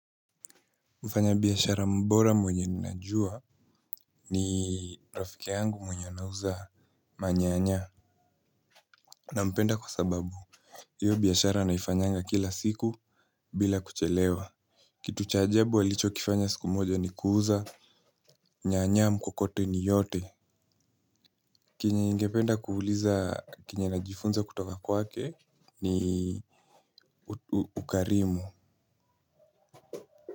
Mfanya biashara mbora mwenye ninajua ni rafiki yangu mwenye anauza manyanya. Nampenda kwa sababu, hiyo biashara anaifanyanga kila siku bila kuchelewa. Kitu cha ajabu alicho kifanya siku moja ni kuuza nyanya mkokoteni yote. Kenye ningependa kuuliza kenye najifunza kutoka kwake ni ukarimu.